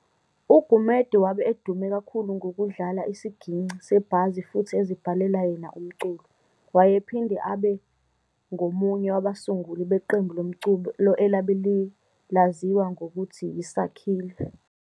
UGumede wabe edume kakhulu ngokudlala isigingci sebhazi futhi ezibhalela yena umculo, wayephinde abe abengomunye wabasunguli beqembu lomculo elabe laziwa ngokuthi yi"Sakhile".